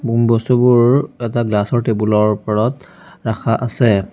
বস্তুবোৰ এটা গ্লাচ ৰ টেবুল ৰ ওপৰত ৰাখা আছে।